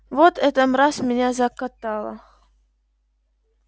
вот эта мразь меня закатала